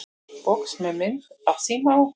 Box með mynd af síma á.